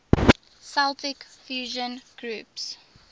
celtic fusion groups